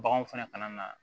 Baganw fɛnɛ ka na